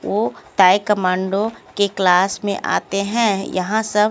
ओ ताई कमांडो के क्लास मे आते है यहां सब।